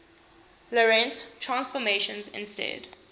lorentz transformations instead